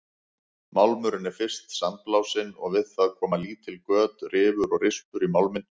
Málmurinn er fyrst sandblásinn og við það koma lítil göt, rifur og rispur í málminn.